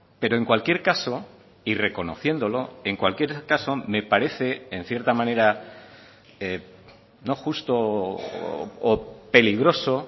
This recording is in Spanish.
pero en cualquier caso y reconociéndolo en cualquier caso me parece en cierta manera no justo o peligroso